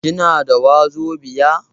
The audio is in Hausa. Kina da wazobiya?